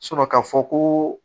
ka fɔ ko